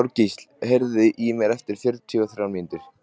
Þorgísl, heyrðu í mér eftir fjörutíu og þrjár mínútur.